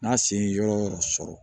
N'a sen ye yɔrɔ o yɔrɔ sɔrɔ